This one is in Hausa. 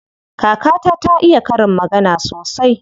Kakata ta iya karin magana sosai.